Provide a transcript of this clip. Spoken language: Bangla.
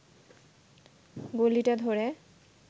গলিটা ধরে